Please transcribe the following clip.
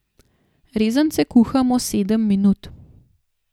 Rezance kuhamo sedem minut.